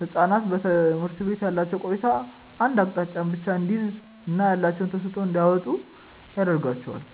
ህጻናት በትምህርት ቤት ያላቸው ቆይታ አንድ አቅጣጫን ብቻ እንዲይዝ እና ያላቸውን ተሰጥዖ እንዳያወጡ ያረጋቸዋል።